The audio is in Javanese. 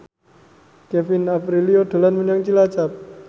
Kevin Aprilio dolan menyang Cilacap